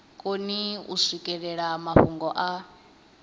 koni u swikelela mafhungo a